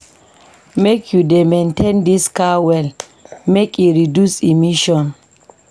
Make you dey maintain dis car well make e reduce emission.